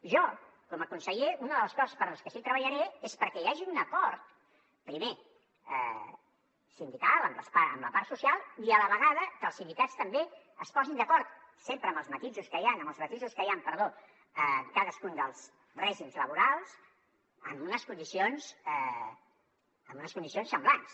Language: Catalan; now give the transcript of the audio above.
jo com a conseller una de les coses per les que sí que treballaré és perquè hi hagi un acord primer sindical amb la part social i a la vegada que els sindicats també es posin d’acord sempre amb els matisos que hi han en cadascun dels règims laborals en unes condicions semblants